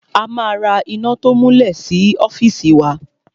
A ma ra iná to múlẹ̀ sí ọ́fìsì wa.